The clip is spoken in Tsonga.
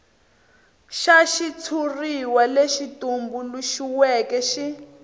xa xitshuriwa lexi tumbuluxiweke xi